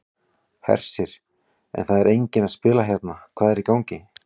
Hersir: En það er enginn að spila hérna, hvað er í gangi?